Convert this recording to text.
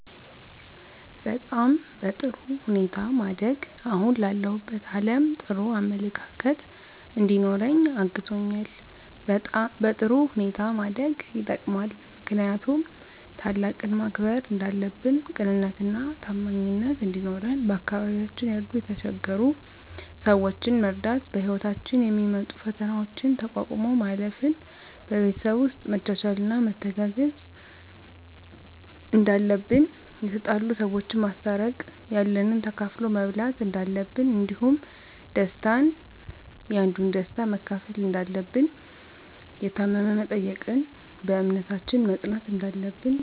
በጣም በጥሩ ሁኔታ ማደጌ አሁን ላለሁበት አለም ጥሩ አመለካከት እንዲኖረኝ አግዞኛል በጥሩ ሁኔታ ማደግ የጠቅማል ምክንያቱም ታላቅን ማክበር እንዳለብን ቅንነትና ታማኝነት እንዲኖረን በአካባቢያችን ያሉ የተቸገሩ ሰዎችን መርዳት በህይወታችን የሚመጡ ፈተናዎችን ተቋቁሞ ማለፍ ን በቤተሰብ ውስጥ መቻቻልና መተጋገዝ እንዳለብን የተጣሉ ሰዎችን ማስታረቅ ያለንን ተካፍሎ መብላት እንዳለብን እንዲሁም ደስታን ያንዱን ደስታ መካፈል እንዳለብን የታመመ መጠየቅን በእምነታችን መፅናት እንዳለብን